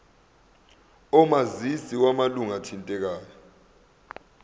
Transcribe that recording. omazisi wamalunga athintekayo